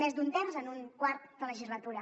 més d’un terç en un quart de legislatura